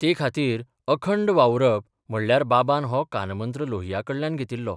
ते खातीर अखंड वावुरप म्हणल्यार बाबान हो कानमंत्र लोहियाकडल्यान घेतिल्लो.